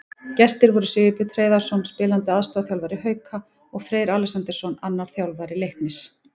Gestir voru Sigurbjörn Hreiðarsson, spilandi aðstoðarþjálfari Hauka, og Freyr Alexandersson, annar þjálfara Leiknis.